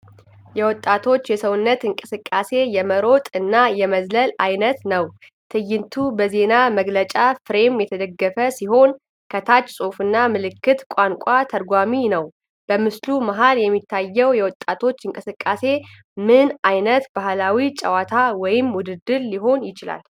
የወጣቶቹ የሰውነት እንቅስቃሴ የመሮጥ እና የመዝለል ዓይነት ነው። ትዕይንቱ በዜና መግለጫ ፍሬም የተደገፈ ሲሆን፣ ከታች ጽሑፍና ምልክት ቋንቋ ተርጓሚ ነው። በምስሉ መሀል የሚታየው የወጣቶች እንቅስቃሴ ምን ዓይነት ባህላዊ ጨዋታ ወይም ውድድር ሊሆን ይችላል?